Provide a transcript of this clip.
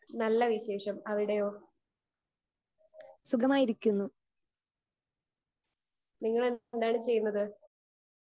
Speaker 2 നല്ല വിശേഷം അവിടെയോ? നിങ്ങൾ എന്താണ് ചെയ്യുന്നത്